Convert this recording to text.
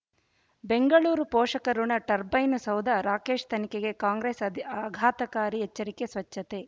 ಬೆಂಗಳೂರು ಪೋಷಕಋಣ ಟರ್ಬೈನು ಸೌಧ ರಾಕೇಶ್ ತನಿಖೆಗೆ ಕಾಂಗ್ರೆಸ್ ಆದಿ ಆಘಾತಕಾರಿ ಎಚ್ಚರಿಕೆ ಸ್ವಚ್ಛತೆ